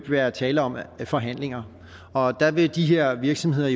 være tale om forhandlinger og der vil de her virksomheder